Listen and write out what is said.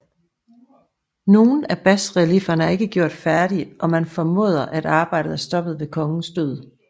Nogle af basreliefferne er ikke gjort færdige og man formoder at arbejdet er stoppet ved kongens død